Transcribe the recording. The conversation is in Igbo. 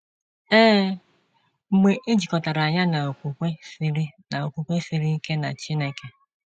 Ee, mgbe e jikọtara ya na okwukwe siri na okwukwe siri ike na Chineke.